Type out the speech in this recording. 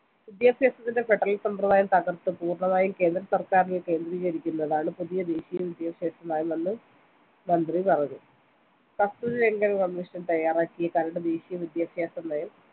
വിദ്യാഭ്യാസത്തിന്റെ federal സമ്പ്രദായം തകർത്ത് പൂർണമായും കേന്ദ്രസർക്കാരിൽ കേന്ദ്രീകരിക്കുന്നതാണ് പുതിയ ദേശീയ വിദ്യാഭ്യാസനയമെന്ന് മന്ത്രി പറഞ്ഞു കസ്തൂരിരംഗൻ commission തയ്യാറാക്കിയ കരട് ദേശീയ വിദ്യാഭ്യാസ നയം